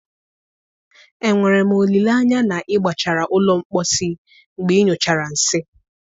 Enwere m olileanya na ị gbachara ụlọ mposi mgbe ịnyụchara nsị?